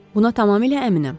Buna tamamilə əminəm.